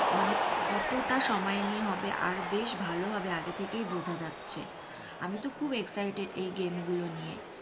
মানে কতটা সময় নিয়ে হবে বেশ ভালো হবে আগে থেকে বোঝা যাচ্ছে আমি তো খুব excited এই game গুলো নিয়ে।